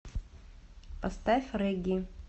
поставь регги